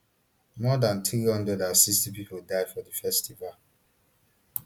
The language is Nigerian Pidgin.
more dan three hundred and sixty pipo die for di festival